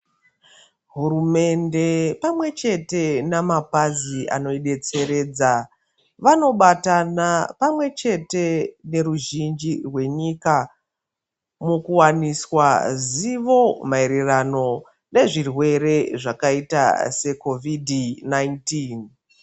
Hurumende pamwe chete na mapazi ano betseredza vano batana pamwe chete ne ruzhinji rwenyika muku waniswa zivo maererano ne zvirwere zvakaita se kovidhi 19.